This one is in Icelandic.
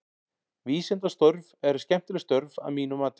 Vísindastörf eru skemmtileg störf að mínu mati.